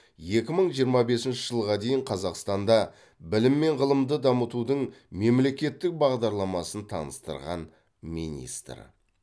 екі мың жиырма бесінші жылға дейін қазақстанда білім мен ғылымды дамытудың мемлекеттік бағдарламасын таныстырған министр